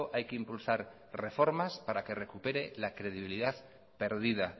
hay que impulsar reformas para que recupere la credibilidad pérdida